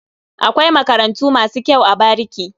Akwai makarantu masu kyau a bariki.